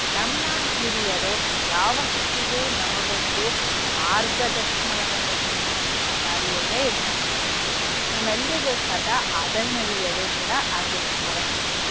ನಮ್ಮ ಹಿರಿಯರು ಯಾವತ್ತಿಗೂ ನಮಗೊಂದು ಮಾರ್ಗದರ್ಶನವನ್ನ ನೀಡ್ತಕ್ಕಂಥ ದಾರಿಯಲ್ಲೇ ಇರ್ತಕ್ಕಂಥವ್ರು. ನಮ್ಮೆಲ್ರಿಗೂ ಸದಾ ಆದರಣೀಯರು ಕೂಡ ಆಗಿರ್ತಾರೆ.